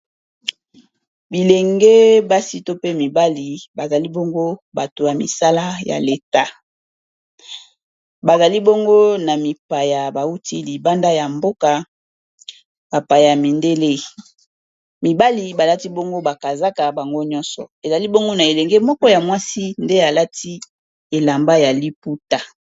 Bilenge basi to pe mibali bazali bongo bato ya misala ya l'etat, bazali bongo na mipaya bawuti libanda ya mboka bapaya mindele. Mibali balati bongo ba kazaka bango nyonso, ezali bongo na elenge moko ya mwasi nde alati elamba ya liputa.